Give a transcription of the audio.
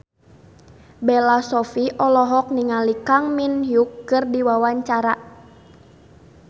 Bella Shofie olohok ningali Kang Min Hyuk keur diwawancara